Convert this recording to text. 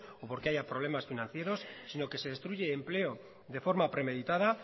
o porque hay problemas financieros sino que se destruye el empleo de forma premeditada